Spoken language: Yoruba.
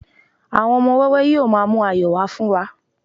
àwọn ọmọ wẹwẹ yíò ma mu ayọ wa fún wa